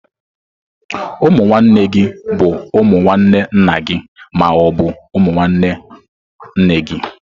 Ụmụ nwanne gi bụ umu nwanne nna gị ma ọ bụ nwanne nne gị.